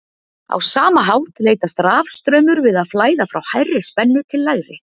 Á sama hátt leitast rafstraumur við að flæða frá hærri spennu til lægri.